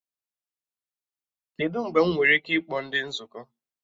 Kedụ mgbe m nwere ike ịkpọ ndị nzukọ?